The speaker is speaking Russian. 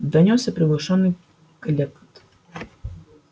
донёсся приглушённый клёкот